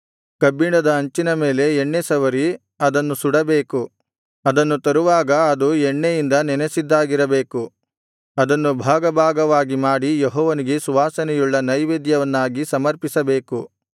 ಕಬ್ಬಿಣದ ಹಂಚಿನ ಮೇಲೆ ಎಣ್ಣೆ ಸವರಿ ಅದನ್ನು ಸುಡಬೇಕು ಅದನ್ನು ತರುವಾಗ ಅದು ಎಣ್ಣೆಯಿಂದ ನೆನಸಿದ್ದಾಗಿರಬೇಕು ಅದನ್ನು ಭಾಗಭಾಗವಾಗಿ ಮಾಡಿ ಯೆಹೋವನಿಗೆ ಸುವಾಸನೆಯುಳ್ಳ ನೈವೇದ್ಯವನ್ನಾಗಿ ಸಮರ್ಪಿಸಬೇಕು